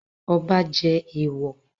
Ọba jẹ èèwọ̀?